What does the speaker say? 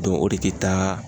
o de te taa